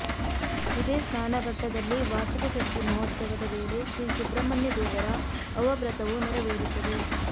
ಇದೇ ಸ್ನಾನಘಟ್ಟದಲ್ಲಿ ವಾರ್ಷಿಕ ಷಷ್ಠಿ ಮಹೋತ್ಸವದ ವೇಳೆ ಶ್ರೀ ಸುಬ್ರಹ್ಮಣ್ಯ ದೇವರ ಅವಭೃತವೂ ನೆರವೇರುತ್ತದೆ